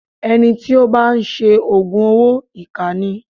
Ẹni tí ó bá ń ṣe Ògùn owó ìkà ni.